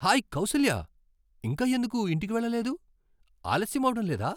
Hi Kausalya, ఇంకా ఎందుకు ఇంటికి వెళ్ళలేదు? ఆలస్యం అవడం లేదా?